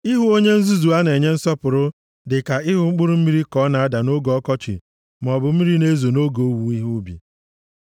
Ịhụ onye nzuzu a na-enye nsọpụrụ dịka ịhụ mkpụrụ mmiri ka ọ na-ada nʼoge ọkọchị maọbụ mmiri na-ezo nʼoge owuwe ihe ubi.